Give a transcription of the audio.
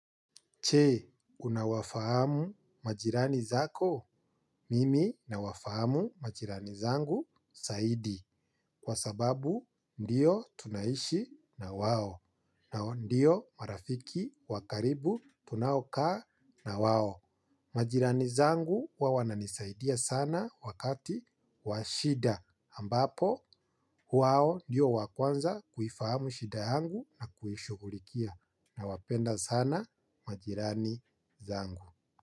Che unawafahamu majirani zako mimi nawafahamu majirani zangu saidi kwa sababu ndiyo tunaishi na wao na ndio marafiki wa karibu tunaokaa na wao. Majirani zangu huwa wananisaidia sana wakati wa shida ambapo wao ndiyo wa kwanza kuifahamu shida yangu na kuishughulikia nawapenda sana majirani zangu.